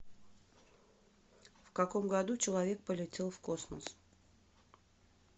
в каком году человек полетел в космос